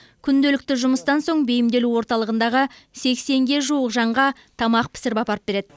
күнделікті жұмыстан соң бейімделу орталығындағы сексенге жуық жанға тамақ пісіріп апарып береді